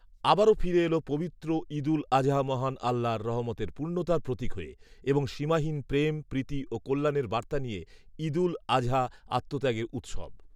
আবারও ফিরে এলো পবিত্র ঈদুল আজহা মহান আল্লাহর রহমতের পূর্ণতার প্রতীক হয়ে এবং সীমাহীন প্রেম প্রীতি ও কল্যাণের বার্তা নিয়ে ৷ঈদুল আজহা আত্মত্যাগের উৎসব